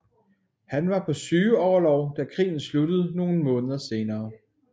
Han var på sygeorlov da krigen sluttede nogle måneder senere